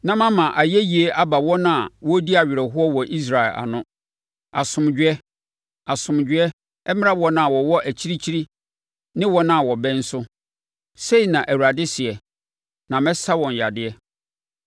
na mama ayɛyie aba wɔn a wɔredi awerɛhoɔ wɔ Israel ano. Asomdwoeɛ, asomdwoeɛ, mmra wɔn a wɔwɔ akyirikyiri ne wɔn a wɔbɛn so,” sei na Awurade seɛ. “Na mɛsa wɔn yadeɛ.”